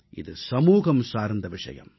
இது சமூகம் சார்ந்த விஷயம்